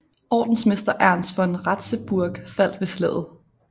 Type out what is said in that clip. Ordensmester Ernst von Ratzeburg faldt ved slaget